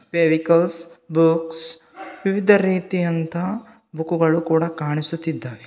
Fevicols books ವಿವಿಧ ರೀತಿ ಅಂತಹ ಬುಕ್ ಗಳು ಕೂಡ ಕಾಣಿಸುತಿದ್ದಾವೆ.